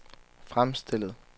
fremstillet